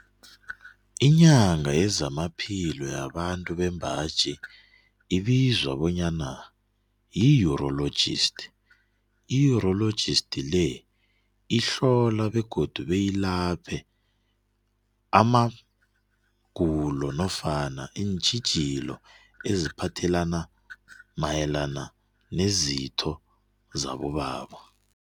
Inyanga yezamaphilo yabantu bembaji ibizwa bonyana yi-urologist. I-urologist le ihlola begodu beyilaphe amagulo nofana iintjhijilo eziphathelana mayelana nezitho zabobaba.